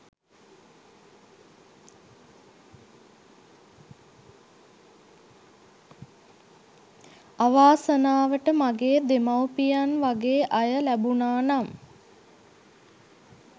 අවාසනාවට මගේ දෙමව්පියන් වගෙ අය ලැබුනා නම්